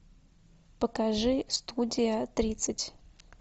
покажи студия тридцать